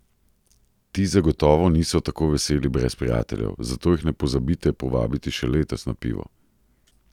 Ti zagotovo niso tako veseli brez prijateljev, zato jih ne pozabite povabiti še letos na pivo!